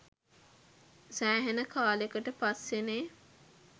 සෑහෙන කාලකට පස්සෙනෙ